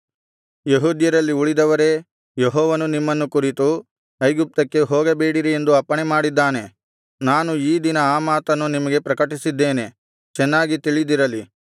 ಯೆಹೂದ್ಯರಲ್ಲಿ ಉಳಿದವರೇ ಯೆಹೋವನು ನಿಮ್ಮನ್ನು ಕುರಿತು ಐಗುಪ್ತಕ್ಕೆ ಹೋಗಬೇಡಿರಿ ಎಂದು ಅಪ್ಪಣೆಮಾಡಿದ್ದಾನೆ ನಾನು ಈ ದಿನ ಆ ಮಾತನ್ನು ನಿಮಗೆ ಪ್ರಕಟಿಸಿದ್ದೇನೆ ಚೆನ್ನಾಗಿ ತಿಳಿದಿರಲಿ